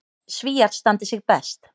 Svíar standi sig best.